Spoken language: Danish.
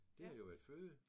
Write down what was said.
Det har jo været føde